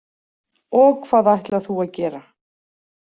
Og hvað ætlar þú að gera?